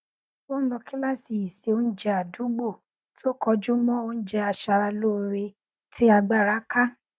ó n lọ kíláàsì ìseoúnjẹ àdúgbò tó kọjú mọ oúnjẹ aṣara lóore tí agbára ká